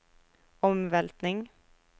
omveltning